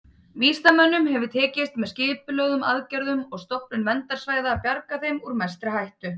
Vísindamönnum hefur tekist, með skipulögðum aðgerðum og stofnun verndarsvæða, að bjarga þeim úr mestri hættu.